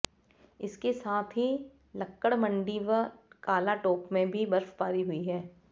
इसके साथ ही लक्कड़मंडी व कालाटोप में भी बर्फबारी हुई है